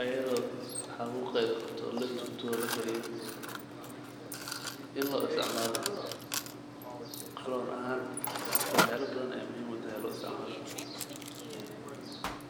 ayidoo xabuuqeeda qabto oo la dubto lakariyo, in loo istacmaalo qoloon ahaa. Marka waxyaala badan ayaa muhiim utahay loo istacmaalo.